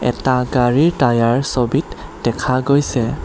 এটা গাড়ী টায়াৰ ছবিত দেখা গৈছে।